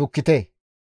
shukkite.